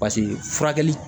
paseke furakɛli